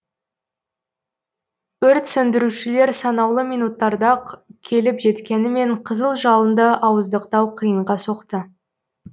өрт сөндірушілер санаулы минуттарда ақ келіп жеткенімен қызыл жалынды ауыздықтау қиынға соқты